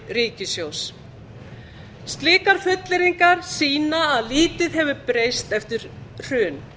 ríkissjóðs slíkar fullyrðingar sýna að lítið hefur breyst eftir hrun